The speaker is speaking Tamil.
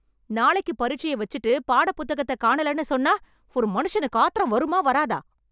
நாளைக்கு பரீட்சைய வச்சுட்டு பாட புத்தகத்தை காணலன்னு சொன்னா ஒரு மனுஷனுக்கு ஆத்திரம் வருமா வராதா?